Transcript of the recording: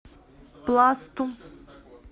пласту